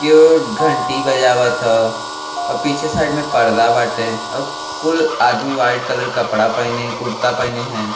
केउ घंटी बजावत ह। अ पीछे साइड में पर्दा बाटे औ कुल आदमी व्हाइट कलर कपड़ा पहिने कुर्ता पहिने हईन।